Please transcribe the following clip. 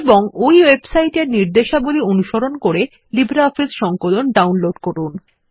এবং ওই ওয়েবসাইট এর নির্দেশাবলী অনুসরণ করে লিব্রিঅফিস সংকলন ডাউনলোড করুন